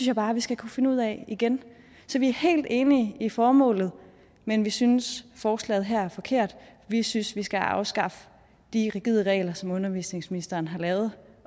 jeg bare vi skal kunne finde ud af igen så vi er helt enige i formålet men vi synes at forslaget her er forkert vi synes at vi skal afskaffe de rigide regler som undervisningsministeren har lavet